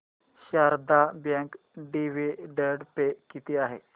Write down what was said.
Sharda bank dividend pay किती आहे